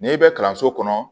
N'i bɛ kalanso kɔnɔ